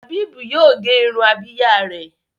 Habib yíò gé Irun Abíyá rẹ.